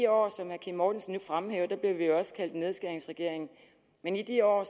år som herre kim mortensen nu fremhæver blev vi jo også kaldt nedskæringsregering men i de år